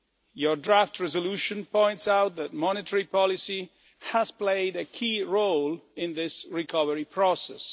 Your draft resolution points out that monetary policy has played a key role in this recovery process.